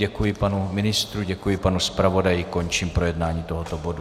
Děkuji panu ministru, děkuji panu zpravodaji, končím projednání tohoto bodu.